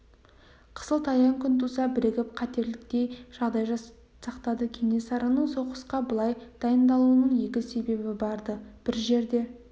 қысылтаяң күн туса бірігіп кетерліктей жағдай сақтады кенесарының соғысқа былай дайындалуының екі себебі бар-ды бір жерде